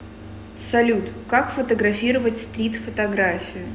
салют как фотографировать стрит фотографию